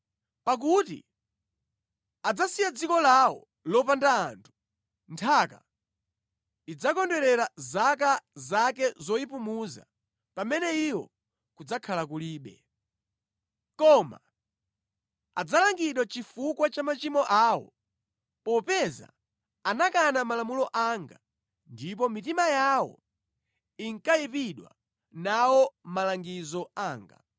Pakuti adzasiya dziko lawo lopanda anthu, nthaka idzakondwerera zaka zake zoyipumuza pamene iwo kudzakhala kulibe. Koma adzalangidwa chifukwa cha machimo awo popeza anakana malamulo anga ndipo mitima yawo inkayipidwa nawo malangizo anga.